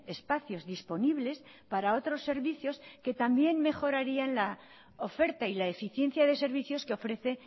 espacios disponibles para otros servicios que también mejorarían la oferta y la eficiencia de servicios que ofrece